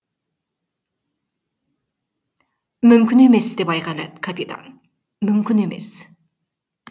мүмкін емес деп айғайлады капитан мүмкін емес